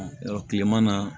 Yɔrɔ kileman na